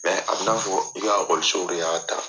a bi na fɔ i ekɔlisow de y'a ta.